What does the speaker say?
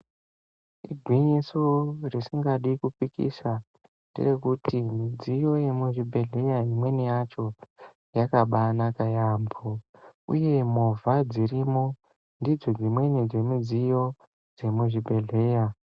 Igwinyiso risingadi kupikisa, nderekuti midziyo yemuchibhedhlera imweni yacho yakabaanaka yaamho, uye movha dzirimo ndidzo dzimweni dzemidziyo dzemuzvi bhedhleya.